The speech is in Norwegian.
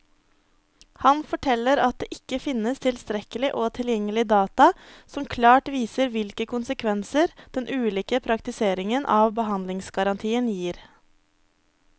Han forteller at det ikke finnes tilstrekkelig og tilgjengelig data som klart viser hvilke konsekvenser den ulike praktiseringen av behandlingsgarantien gir.